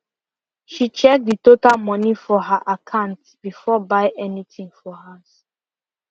she check the total moni for her akant before buy any thing for house